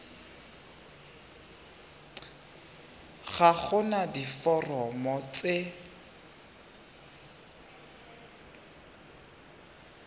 ga go na diforomo tse